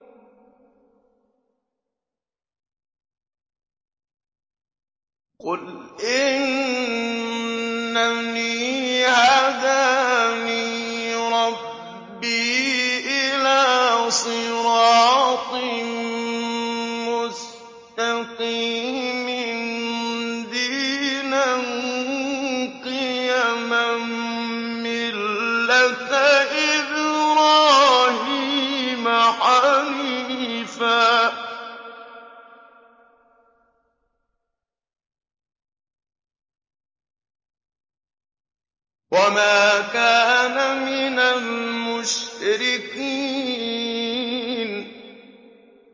قُلْ إِنَّنِي هَدَانِي رَبِّي إِلَىٰ صِرَاطٍ مُّسْتَقِيمٍ دِينًا قِيَمًا مِّلَّةَ إِبْرَاهِيمَ حَنِيفًا ۚ وَمَا كَانَ مِنَ الْمُشْرِكِينَ